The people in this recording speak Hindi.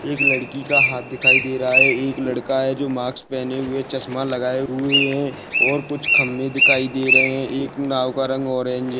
एक लड़की का हात दिखाई दे रहा है एक लड़का है जो मास्क पहने हुए चश्मा लगाए हुए है और कुछ खंबे दिखाई धे रहे है एक नाव का रंग ऑरेंज है।